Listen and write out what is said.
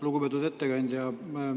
Lugupeetud ettekandja!